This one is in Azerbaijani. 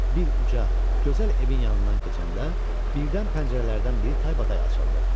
Bir uca, gözəl evin yanından keçəndə birdən pəncərələrdən biri taybatay açıldı.